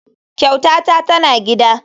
Kyautata tana gida.